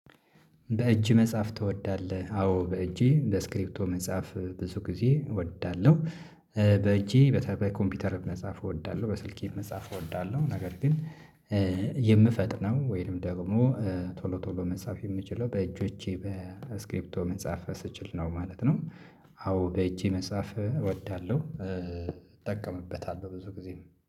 በእጅ መጽሐፍ ትወዳለህ አዎ በእጄ በስክሪፕቶ መጽአፍ ብዙ ጊዜ እወዳለሁ። ኧ በእጄ በተ ኮምፒውተር መጻፍ እወዳለሁ በስልኬ መጻፍ እወዳለሁ ነገር ግን ኧ የምፈጥነው ወይንም ደግሞ ኧ ቶሎ ቶሎ መጻፍ የምችለው በእጆቼ በስክሪፕቶ መጻፍ ስችል ነው ማለት ነው። አዎ በእጄ መጽሐፍ እወዳለሁ እጠቀምበታለሁ ብዙ ጊዜም